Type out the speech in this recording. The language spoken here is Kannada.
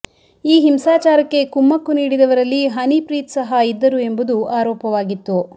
ಈ ಹಿಂಸಾಚಾರಕ್ಕೆ ಕುಮ್ಮಕ್ಕು ನೀಡಿದವರಲ್ಲಿ ಹನಿಪ್ರೀತ್ ಸಹ ಇದ್ದರು ಎಂಬುದು ಆರೋಪವಾಗಿತ್ತು